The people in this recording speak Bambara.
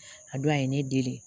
A don a ye ne deli